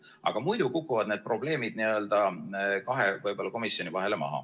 Aga muidu kukuvad need probleemid n-ö kahe komisjoni vahele maha.